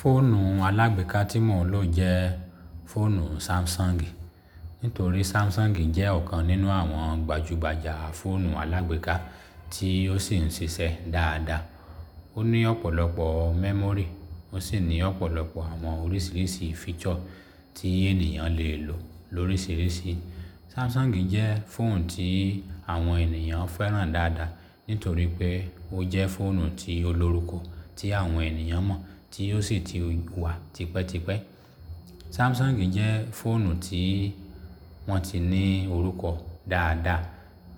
Fóònù alágbèéká tí mò ń lò jẹ́ fóònù Samsung. Nítorí Samsung jẹ́ ọ̀kan nínú àwọn gbajúgbajà fóònù alágbèéká tí ó sì ń ṣiṣẹ́ dáadáa. Ó ní ọ̀pọ̀lọpọ̀ memory, ó sì ní ọ̀pọ̀lọpọ̀ àwọn oríṣiríṣi feature tí ènìyàn lè lò lóríṣiríṣi. Samsung jẹ́ fóònù tí àwọn ènìyàn fẹ́ràn dáadáa, nítorí pé ó jẹ́ fóònù tí o lórúkọ tí àwọn ènìyàn mọ̀ tí ó sì ti wà tipẹ́tipẹ́. Samsung jẹ́ fóònù tí wọ́n ti ní orúkọ dáadáa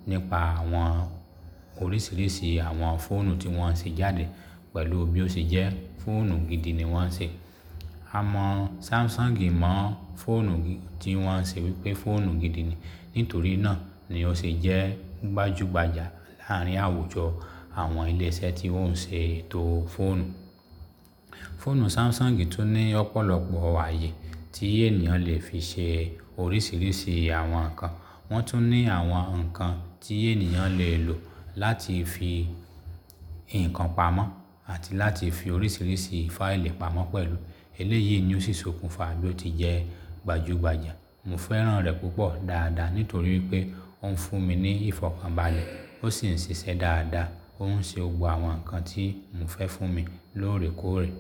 nípa àwọn oríṣiríṣi àwọn fóònù tí wọ́n ṣe jáde pẹ̀lú bí ó ṣe jẹ́ fóònù gidi ni wọ́n ṣe. A mọ̀ Samsung mọ̀ fóònù tí wọ́n ṣe wípé fóònù gidi ni. Nítorí náà ni ó ṣe jẹ́ gbajúgbajà láàárín àwùjọ àwọn ilé iṣẹ́ tí ó ń ṣe ètò fóònù. Fóònù Samsung tún ní ọ̀pọ̀lọpọ̀ ààyè tí ènìyàn lè fi ṣe oríṣiríṣi àwọn nǹkan. Wọ́n tún ní àwọn nǹkan tí ènìyàn lè lò láti fi ìkan pamọ́ àti láti fi oríṣiríṣi fáìlì pamọ́ pẹ̀lú. Eléyìí ni ó sì sokùn fa bí ó ti jẹ́ gbajúgbajà. Mo fẹ́ràn rẹ̀ púpọ̀ dáadáa nítorí pé ó ń fún mi ní ìfọ̀kànbalẹ̀, ó sì ń ṣiṣẹ́ dáadáa. Ó ń ṣe gbogbo àwọn nǹkan tí mo fẹ́ fún mi lóòrèkóòrè.